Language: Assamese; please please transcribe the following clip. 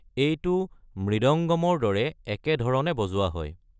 এইটো মৃদঙ্গমৰ দৰে একে ধৰণে বজোৱা হয়।